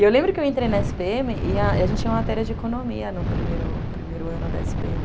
E eu lembro que eu entrei na esse pê eme e a gente tinha uma matéria de economia no primeiro ano da esse pê eme.